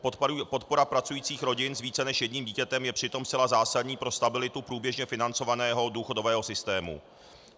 Podpora pracujících rodin s více než jedním dítětem je přitom zcela zásadní pro stabilitu průběžně financovaného důchodového systému.